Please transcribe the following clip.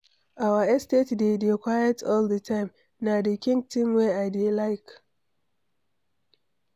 Our estate dey dey quiet all the time, na the kin thing wey I dey like.